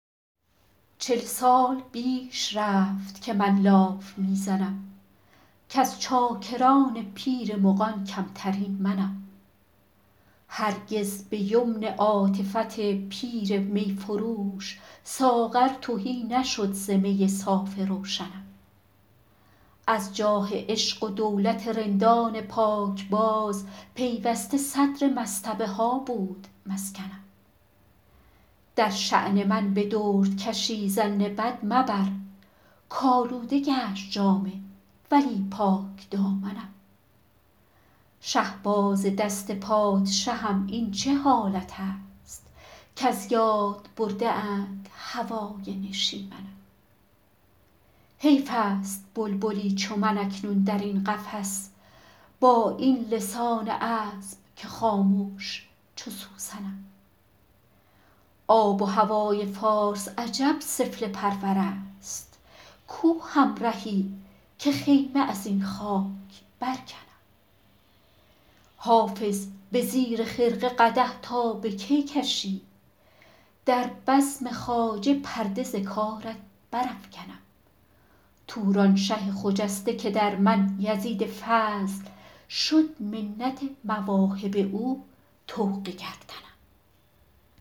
چل سال بیش رفت که من لاف می زنم کز چاکران پیر مغان کمترین منم هرگز به یمن عاطفت پیر می فروش ساغر تهی نشد ز می صاف روشنم از جاه عشق و دولت رندان پاکباز پیوسته صدر مصطبه ها بود مسکنم در شان من به دردکشی ظن بد مبر کآلوده گشت جامه ولی پاکدامنم شهباز دست پادشهم این چه حالت است کز یاد برده اند هوای نشیمنم حیف است بلبلی چو من اکنون در این قفس با این لسان عذب که خامش چو سوسنم آب و هوای فارس عجب سفله پرور است کو همرهی که خیمه از این خاک برکنم حافظ به زیر خرقه قدح تا به کی کشی در بزم خواجه پرده ز کارت برافکنم تورانشه خجسته که در من یزید فضل شد منت مواهب او طوق گردنم